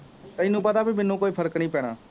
ਤੈਨੂੰ ਪਤਾ ਬਈ ਮੈਨੂੰ ਕੋਈ ਫਰਕ ਨਹੀਂ ਪੈਣਾ